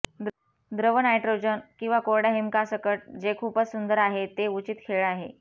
द्रव नायट्रोजन किंवा कोरड्या हिमकासकट जे खूपच सुंदर आहे ते उचित खेळ आहे